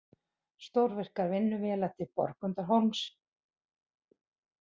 Stórvirkar vinnuvélar til Borgundarhólms